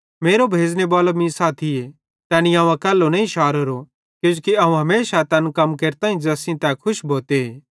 मेरो भेज़ने बालो मीं साथीए तैनी अवं अकैल्लो नईं शारोरो किजोकि अवं हमेशा तैन कम केरताईं ज़ैस सेइं तै खुश भोते